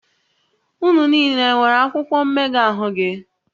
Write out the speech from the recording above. Unu niile nwere akwụkwọ mmega ahụ gị?